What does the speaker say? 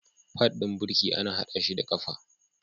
Pad ɗin birki ana haɗa shi da ƙafa.